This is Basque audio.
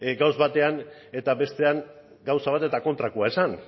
gauza batean eta bestean gauza bat eta kontrakoa esan